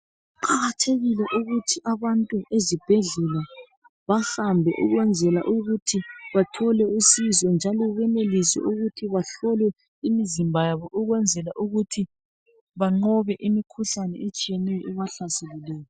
Kuqakathekile ukuthi abantu ezibhedlela bahambe ukwenzela ukuthi bathole usizo njalo benelise ukuthi bahlolwe imizimba yabo ukwenzela ukuthi banqobe imikhuhlane etshiyeneyo ebahlaselileyo.